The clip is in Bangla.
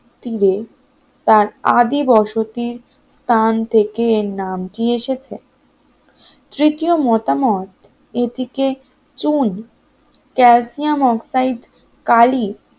তীরে তার আদি বসতি তার থেকে নাম কি এসেছে তৃতীয় মতামত এটিকে চুন ক্যা যেহেতু বিখ্যাত ছিললসিয়াম অক্সাইড কালি